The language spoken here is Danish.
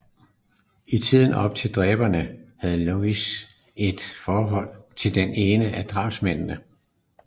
I tiden op til drabene havde Lewis et forhold til den ene af drabsmændene